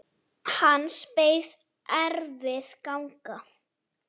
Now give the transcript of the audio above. Hans beið erfið ganga.